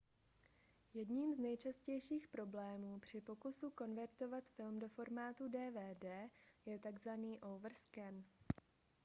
jedním z nejčastějších problémů při pokusu konvertovat film do formátu dvd je takzvaný overscan